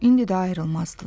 İndi də ayrılmazdılar.